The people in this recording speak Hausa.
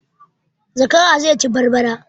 Zakara zai ci barbara